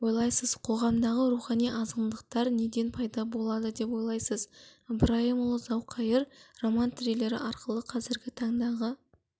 ойлайсыз қоғамдағы рухани азғындықтар неден пайда болады деп ойлайсыз ыбырайымұлы зауқайыр роман-триллері арқылы қазіргі таңдағы